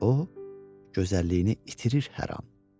O gözəlliyini itirir hər an.